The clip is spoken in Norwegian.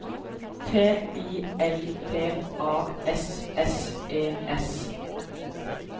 T I L P A S S E S